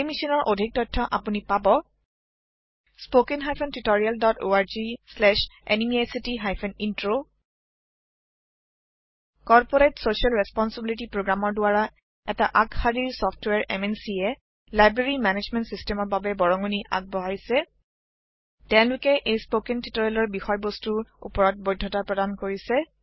এই মিচনৰ অধিক তথ্য আপুনি পাব httpspoken tutorialorgNMEICT ইন্ট্ৰ কৰ্পোৰেট চচিয়েল ৰেছপঞ্চিবিলিটি Programmeৰ দ্বাৰা এটা আগশাৰীৰ চফ্টৱেৰ MNCয়ে লাইব্ৰেৰী মেনেজমেণ্ট Systemৰ বাবে বৰঙনি আগবঢ়াইছে তেওলোকে এই স্পৌকেন টিওটৰিয়েলৰ বিষয়বস্তুৰ ওপৰত বৈধতা প্ৰদান কৰিছে